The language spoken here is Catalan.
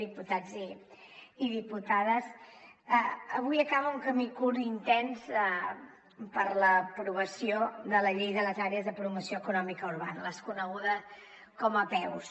diputats i diputades avui acaba un camí curt i intens per a l’aprovació de la llei de les àrees de promoció econòmica urbana les conegudes com a apeus